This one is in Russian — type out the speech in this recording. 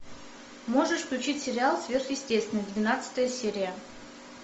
можешь включить сериал сверхъестественное двенадцатая серия